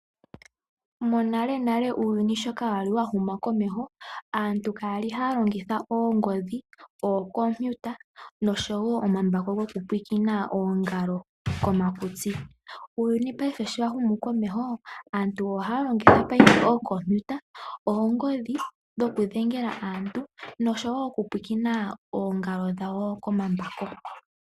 Monalenale uuyuni sho kaa wa li wa huma komeho, aantu kaya li haa longitha oongodhi, ookompiuta nosho wo omambako gokupwiikina oongalo komakutsi. Uuyuni paife sho wa humu komeho, Aantu ohaa longitha paife ookompiuta, oongodhi dhokudhengela aantu, nosho wo okupulakena oongalo dhawo komambako.